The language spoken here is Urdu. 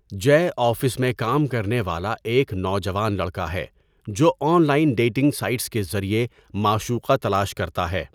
جئے آفس میں کام کرنے والا ایک نوجوان لڑکا ہے جو آن لائن ڈیٹنگ سائٹس کے ذریعے معشوقہ تلاش کرتا ہے۔